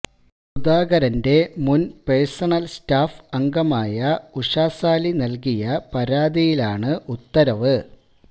സുധാകരന്റെ മുന് personal staff അംഗമായ ഉഷാസാലി നല്കിയ പരാതിയിലാണ് ഉത്തരവ്